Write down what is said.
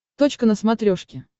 точка на смотрешке